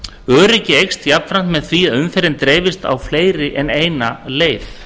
öryggi eykst jafnframt með því að umferðin dreifist á fleiri en eina leið